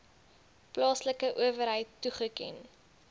plaaslike owerheid toegeken